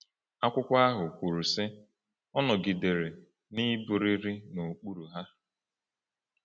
Akwụkwọ ahụ kwuru, sị: “Ọ nọgidere n’ịbụrịrị n’okpuru ha.”